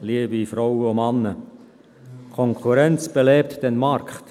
Konkurrenz belebt den Markt.